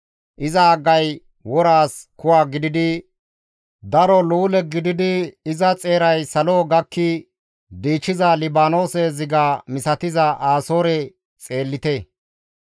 Iza haggay woraas kuwa gididi daro luule gididi iza xeeray salo gakki diichiza Libaanoose ziga misatiza Asoore xeellite.